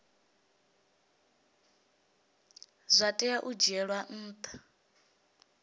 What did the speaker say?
zwa tea u dzhielwa ntha